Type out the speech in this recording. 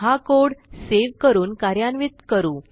हा code save करून कार्यान्वित करू